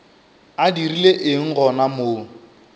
a dirile eng gona mo